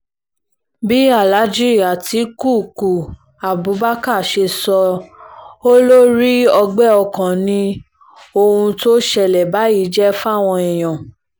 bí aláàjì àtikukú abubakar ṣe sọ ọ́ ló rí ọgbẹ́ ọkàn ni ohun tó ń ṣẹlẹ̀ báyìí jẹ́ fáwọn èèyàn